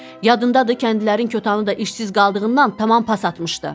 Yadındadır kəndlilərin kötanı da işsiz qaldığından tamam pas atmışdı.